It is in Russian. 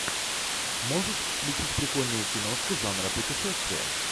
можешь включить прикольную киношку жанра путешествия